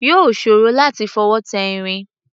Yóò ṣòro láti fọwọ́ tẹ irin.